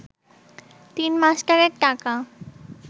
তিন মাস্টারের টাকা